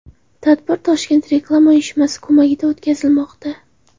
Tadbir Toshkent Reklama uyushmasi ko‘magida o‘tkazilmoqda.